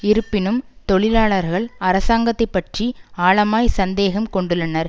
இருப்பினும் தொழிலாளர்கள் அரசாங்கத்தை பற்றி ஆழமாய் சந்தேகம் கொண்டுள்ளனர்